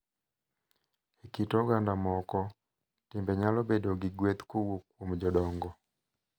E kit oganda moko, timbe nyalo bedo gi gweth kowuok kuom jodongo,